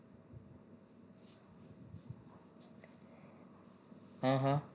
હા હા